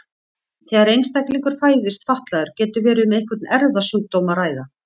Þegar einstaklingur fæðist fatlaður getur verið um einhvern erfðasjúkdóm að ræða.